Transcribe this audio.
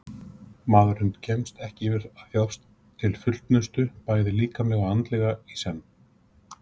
Maðurinn kemst ekki yfir að þjást til fullnustu bæði líkamlega og andlega í senn.